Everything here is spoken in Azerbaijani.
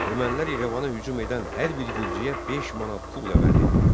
Ermənilər İrəvana hücum edən hər bir gürcüyə 5 manat pulla vəd edirdilər.